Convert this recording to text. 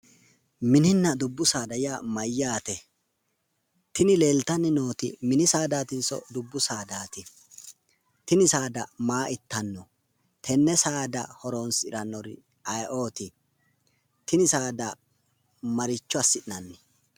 Mininna dubbu saada yaa mayyaate? Tini leeltanni nooti mini saadatinso dubbu saadaati? Tini saada maa ittanno? Tennesaada horonsirannori aye"oti? Tini saada maricho assi'nanni?